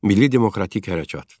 Milli demokratik hərəkat.